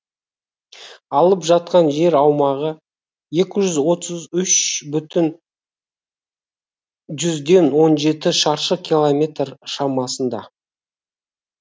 алып жатқан жер аумағы екі жүз отыз үш бүтін жүзден он жеті шаршы километр шамасында